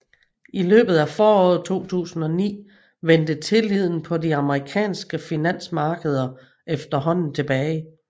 I løbet af foråret 2009 vendte tilliden på de amerikanske finansmarkeder efterhånden tilbage